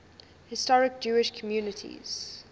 historic jewish communities